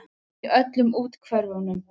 Í öllum úthverfunum.